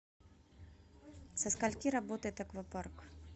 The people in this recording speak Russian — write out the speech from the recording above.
со скольки работает аквапарк